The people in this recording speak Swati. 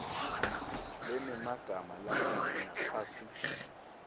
lenemagama langabi ngaphasi